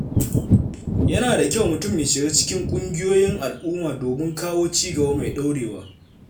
Yana da kyau mutum ya shiga cikin ƙungiyoyin al’umma domin kawo cigaba mai ɗorewa.